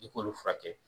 I k'olu furakɛ